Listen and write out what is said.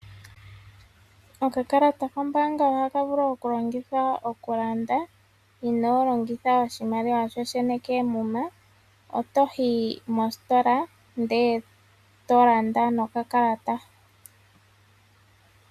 Okakalata koombaanga ohaka vulu okulongithwa okulanda inoo longitha oshimaliwa shoshene koomuma. Otoyi mostola ndele tolanda nokakalata.